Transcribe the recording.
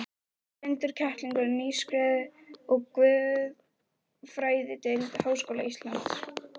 Blindur kettlingur, nýskriðinn úr guðfræðideild Háskóla Íslands.